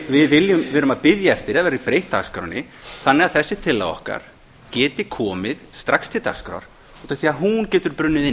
við verum að bíða eftir að dagskránni verði breytt þannig að þessi tillaga okkar geti komið strax til dagskrár út